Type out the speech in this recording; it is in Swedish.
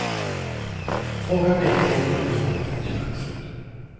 Frågan är om hon nu får den chansen.